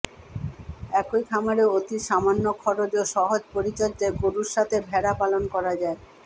একই খামারে অতি সামান্য খরচ ও সহজ পরিচর্যায় গরুর সাথে ভেড়া পালন করা যায়